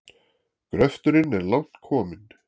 Gröfturinn er langt kominn.